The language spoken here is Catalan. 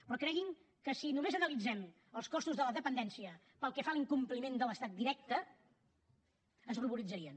però creguin que si només analitzem els costos de la dependència pel que fa a l’incompliment de l’estat directe es ruboritzarien